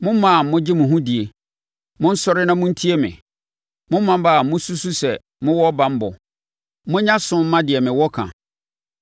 Mo mmaa a mogye mo ho die, monsɔre na montie me; mo mmammaa a mosusu sɛ mowɔ banbɔ monyɛ aso mma deɛ mewɔ ka!